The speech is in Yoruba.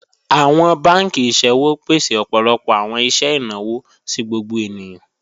Awọn bankì iṣẹ̀wò pèsè ọpọlọpọ awọn iṣẹ̀ ináwọ̀ sí gbogbo ènìyàn.